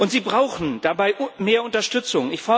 Sie brauchen dabei mehr Unterstützung.